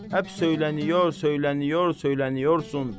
Həp söyləniyor, söyləniyor, söyləniyorsan.